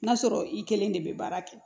N'a sɔrɔ i kelen de bɛ baara kɛ